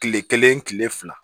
Kile kelen kile fila